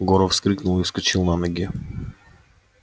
горов вскрикнул и вскочил на ноги